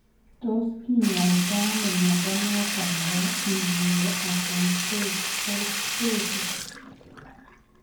Tos kinyaitoo ano mnyondo noton nebo neuroacanthocytosis ?